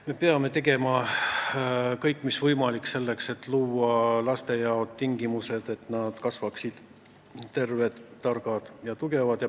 Me peame tegema kõik mis võimalik selleks, et luua lastele tingimused, et neist kasvaksid terved, targad ja tugevad inimesed.